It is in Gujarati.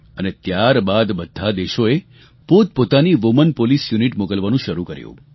અને ત્યારબાદ બધા દેશોએ પોતપોતાનાં વુમેન પોલીસ યુનિટ મોકલવાનું શરૂ કર્યું